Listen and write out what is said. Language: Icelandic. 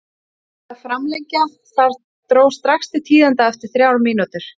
Það þurfti að framlengja og þar dró strax til tíðinda eftir þrjár mínútur.